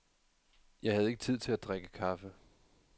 Jeg havde ikke tid til at drikke kaffe.